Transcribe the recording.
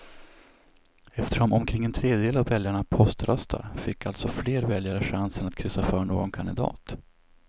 Eftersom omkring en tredjedel av väljarna poströstar fick alltså fler väljare chansen att kryssa för någon kandidat.